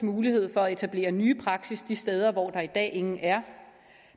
mulighed for at etablere nye praksis de steder hvor der i dag ingen er